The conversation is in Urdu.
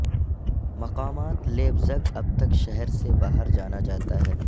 مقامات لیپزگ اب تک شہر سے باہر جانا جاتا ہے